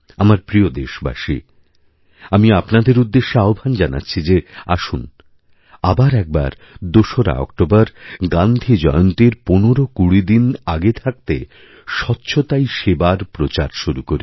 আমার প্রিয়দেশবাসী আমি আপনাদের উদ্দেশ্যে আহ্বান জানাচ্ছি যে আসুন আবার একবার দোসরাঅক্টোবর গান্ধী জয়ন্তীর ১৫২০ দিন আগে থাকতে স্বচ্ছতাই সেবার প্রচার শুরুকরি